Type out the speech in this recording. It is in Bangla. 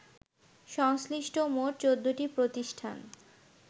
সংশ্লিষ্ট মোট ১৪টি প্রতিষ্ঠান